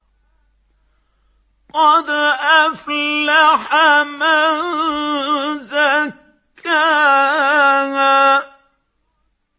قَدْ أَفْلَحَ مَن زَكَّاهَا